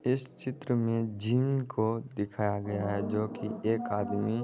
इस चित्र में जिम को दिखाया गया है जो की एक आदमी --